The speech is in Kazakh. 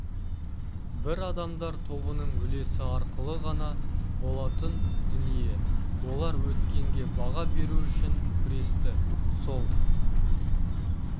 бір адамдар тобының үлесі арқылы ғана болатын дүние олар өткенге баға беру үшін күресті сол